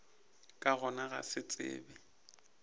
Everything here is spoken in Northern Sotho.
ka gona go se tsebe